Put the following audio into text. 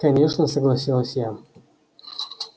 конечно согласилась я